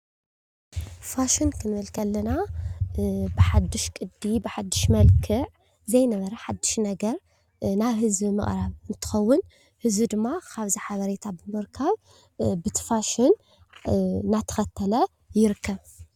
ፋሽን ክንብል ከለና ብሓዱሽ ቅዲ፣ ብሓዱሽ መልክዕ ዘይነበረ ሓዱሽ ነገር ናብ ህዝቢ ምቕራብ እንትኸውን ህዝቢ ድማ ካብ ካብዚ ሓበሬታ ብምርካብ በቲ ፋሽን እናተኸተለ ይርከብ፡፡